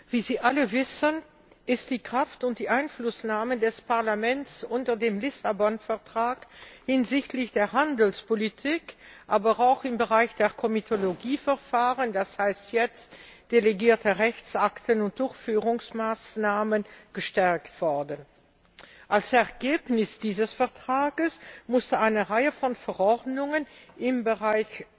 Wie Sie alle wissen, ist die Kraft und die Einflussnahme des Parlaments unter dem Lissabon Vertrag hinsichtlich der Handelspolitik, aber auch im Bereich der Komitologieverfahren das heißt jetzt delegierte Rechtsakte und Durchführungsmaßnahmen gestärkt worden. Als Ergebnis dieses Vertrags musste eine Reihe von Verordnungen im Bereich